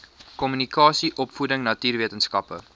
kommunikasie opvoeding natuurwetenskappe